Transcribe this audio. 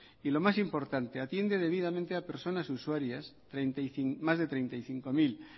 y lo más importante atiende debidamente a personar usuarias más de treinta y cinco mil